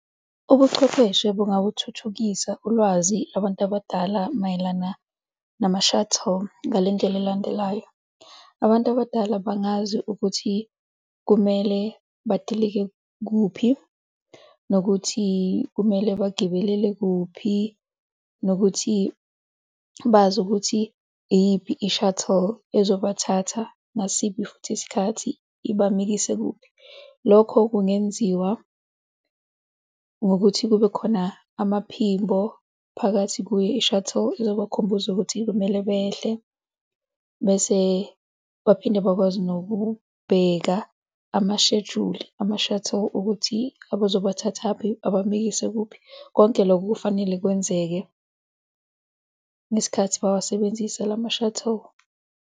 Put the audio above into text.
Ubuchwepheshe bungabuthuthukisa ulwazi abantu abadala mayelana nama-shuttle, ngale ndlela elandelayo. Abantu abadala bangazi ukuthi kumele badilike kuphi, nokuthi kumele bagibelele kuphi, nokuthi bazi ukuthi iyiphi i-shuttle ezobathatha ngasiphi futhi isikhathi ibamikise kuphi. Lokho kungenziwa ngokuthi kube khona amaphimbo phakathi kwe-shuttle ezomkhumbuza ukuthi kumele behle bese baphinde bakwazi nokubheka amashejuli ama-shuttle ukuthi abazobathathaphi abamikise kuphi. Konke loko kufanele kwenzeke ngesikhathi bawasebenzise lama-shuttle.